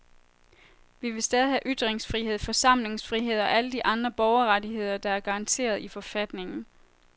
Vi vil stadig have ytringsfrihed, forsamlingsfrihed og alle de andre borgerrettigheder, der er garanteret i forfatningen.